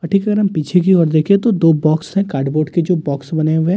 और ठीक अगर हम पीछे की ओर देखें तो दो बॉक्स हैं कार्डबोर्ड के जो बॉक्स बने हुए हैं।